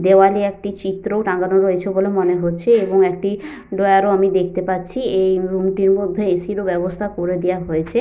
দেওয়ালে একটি চিত্রও টানানো রয়েছে বলে মনে হচ্ছে এবং একটি ড্রয়ার ও আমি দেখতে পাচ্ছি। এই রুম টির মধ্যে এ.সি. র ও ব্যবস্থা করে দেওয়া হয়েছে।